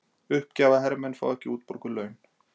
Uppgjafahermenn fá ekki útborguð laun